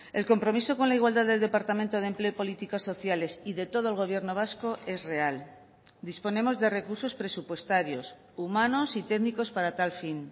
el compromiso con la igualdad del departamento de empleo y políticas sociales y de todo el gobierno vasco es real disponemos de recursos presupuestarios humanos y técnicos para tal fin